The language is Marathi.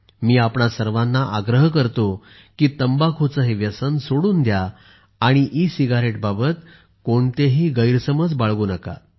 मी आपणा सर्वांना आग्रह करतो की तंबाखूचे हे व्यसन सोडून द्या आणि ई सिगारेटबाबत कोणतेही गैरसमज बाळगू नका